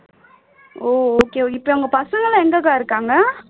ஓ okay okay இப்போ அவங்க பசங்க எல்லாம் எங்க அக்கா இருக்காங்க